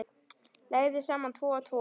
Leggðu saman tvo og tvo.